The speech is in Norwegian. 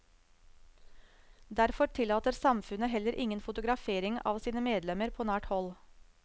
Derfor tillater samfunnet heller ingen fotografering av sine medlemmer på nært hold.